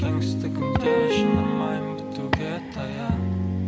кеңістігінде жанармайым бітуге таяп